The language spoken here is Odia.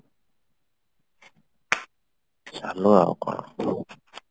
ଚାଲୁ ଆଉ କଣ